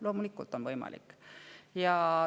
Loomulikult on see võimalik.